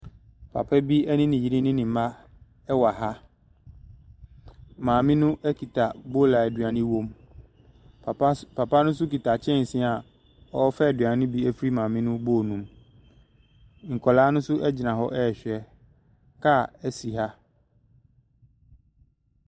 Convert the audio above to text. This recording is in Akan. Papabi ɛne ne yere ne mma ɛwɔ ha, maame no ɛkita bool a aduane wɔ mu, papa ne so kita kyɛnsee a ɔɔfa aduane no bi afri maame no bool no mu. Nkɔlaa no ɛgyina hɔ ɛɛhwɛ, kaa ɛsi ha.